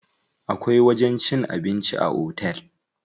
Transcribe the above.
Akwai wajen cin abinci a otel.